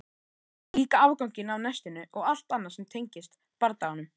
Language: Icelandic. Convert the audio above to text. Líka afganginn af nestinu og allt annað sem tengdist bardaganum.